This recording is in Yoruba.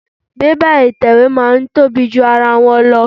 Bébà ìtẹ̀wé máa ń tóbi ju ara wọn lọ.